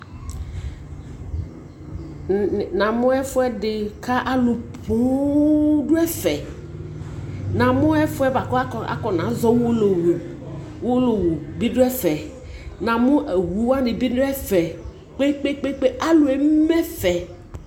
namʋ ɛƒʋɛdi kʋ alʋ pɔɔm dʋ ɛƒɛ, namʋ ɛƒʋɛ bʋakʋ akɔna zɔ ʋwɔlɔwʋ, ɔwɔlɔwʋ bi dʋ ɛƒɛ, namʋ ɔwʋ wani bi dʋ ɛƒɛ kpekpekpe, alʋ ɛmɛ ɛƒɛ.